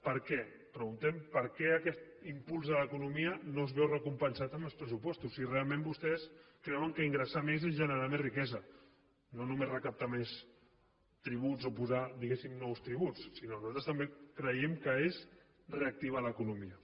per què preguntem per què aquest impuls de l’economia no es veu recompensat en els pressupostos si realment vostès creuen que ingressar més és generar més riquesa no només recaptar més tributs o posar digués sim nous tributs sinó que nosaltres també creiem que és reactivar l’economia